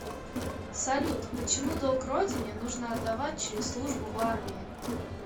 салют почему долг родине нужно отдавать через службу в армии